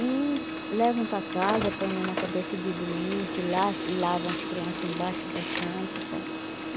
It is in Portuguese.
E levam para casa, põe na cabeça de doente, la lavam as crianças embaixo da santa, certo?